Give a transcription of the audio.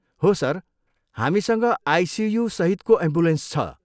हो सर! हामीसँग आइसियु सहितको एम्बुलेन्स छ।